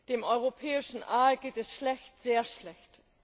Dem Europäischen Aal geht es schlecht, sehr schlecht!